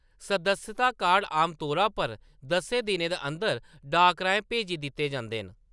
सदस्यता कार्ड आमतौरा पर दस्सें दिनें दे अंदर डाक राहें भेजी दित्ते जंदे न।